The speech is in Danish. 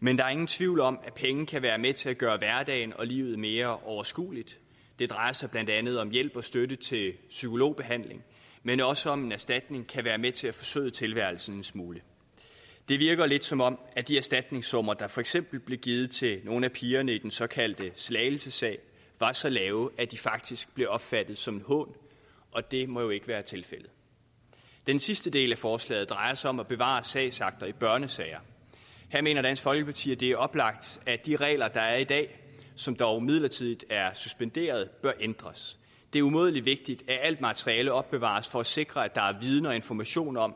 men der er ingen tvivl om at penge kan være med til at gøre hverdagen og livet mere overskueligt det drejer sig blandt andet om hjælp og støtte til psykologbehandling men også om at en erstatning kan være med til at forsøde tilværelsen en smule det virker lidt som om at de erstatningssummer der for eksempel blev givet til nogle af pigerne i den såkaldte slagelsesag var så lave at de faktisk blev opfattet som en hån og det må jo ikke være tilfældet den sidste del af forslaget drejer sig om at bevare sagsakter i børnesager her mener dansk folkeparti at det er oplagt at de regler der er i dag som dog midlertidigt er suspenderet bør ændres det er umådelig vigtigt at alt materialet opbevares for at sikre at der er viden og information om